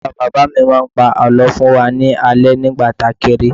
Bàbá bàbá mi máa ń pa àlọ́ fún wa ní alẹ́ alẹ́ nígbà tí a kéré